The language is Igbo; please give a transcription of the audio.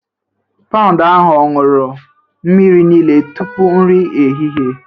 Paụnd ahụ ọ̀ ṅụrụ mmiri niile tupu nri ehihie?